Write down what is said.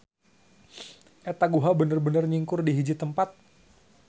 Eta guha bener-benr nyingkur di hiji tempat.